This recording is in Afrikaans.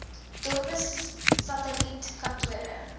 dorpe satelliet kantore